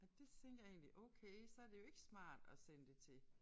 Og det tænkte jeg egentlig okay så det jo ikke smart at sende det til